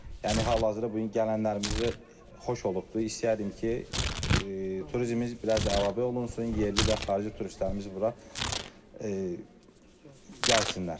Yəni hal-hazırda bu gələnlərimizi xoş olubdur, istəyərdim ki, turizminiz biraz əlavə olunsun, yerli və xarici turistlərimiz bura gəlsinlər.